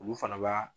Olu fana b'a